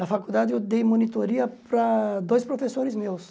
Na faculdade eu dei monitoria para dois professores meus.